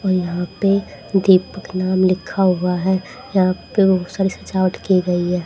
यहां पे दीपक नाम लिखा हुआ है यहां पे बहुत सारी सजावट की गई है।